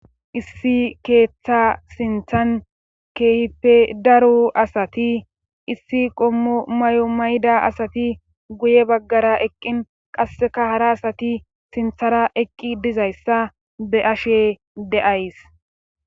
Issi keeththa sinthan keehipe daro asati issi qommo may7o mayda asati guye baggara eqqin qasseka hara asati sinthara eqqi dizayssa be ashe de7ays